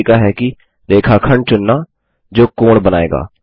दूसरा तरीका है कि रेखाखंड चुनना जो कोण बनाएगा